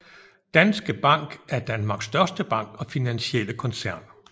Danske Bank er Danmarks største bank og finansielle koncern